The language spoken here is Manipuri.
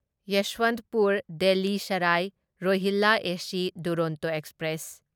ꯌꯦꯁ꯭ꯋꯟꯇꯄꯨꯔ ꯗꯦꯜꯂꯤ ꯁꯔꯥꯢ ꯔꯣꯍꯤꯜꯂꯥ ꯑꯦꯁ ꯗꯨꯔꯣꯟꯇꯣ ꯑꯦꯛꯁꯄ꯭ꯔꯦꯁ